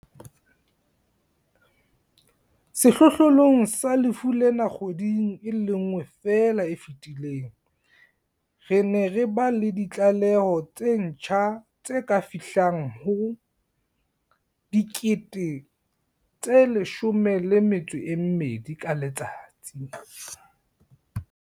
Sehlohlolong sa lefu lena kgweding e le nngwe feela e fetileng, re ne re ba le ditlaleho tse ntjha tse ka fihlang ho 12 000 ka letsatsi.